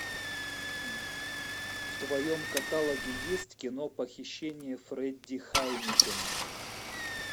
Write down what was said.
в твоем каталоге есть кино похищение фредди хайнекена